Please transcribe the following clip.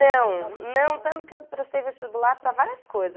Não, não tanto que eu prestei vestibular para várias coisas.